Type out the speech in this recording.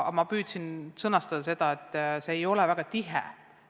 Ma püüdsin sõnastada seda, et meie suhtlus ei ole väga tihe.